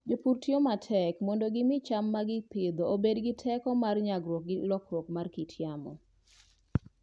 Jopur tiyo matek mondo gimi cham ma gipidho obed gi teko mar nyagruok gi lokruok mar kit yamo.